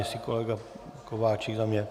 Jestli kolega Kováčik za mě?